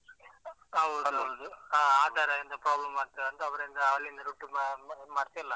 ಹೌದು ಹೌದು. ಹಾ ಆತರ ಎಂತ problem ಆಗ್ತದೆ ಅಂತ ಅವರಿಂದ ಅಲ್ಲಿಂದ ಮಾಡ್ತಾ ಇಲ್ಲ.